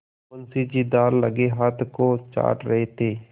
मुंशी जी दाललगे हाथ को चाट रहे थे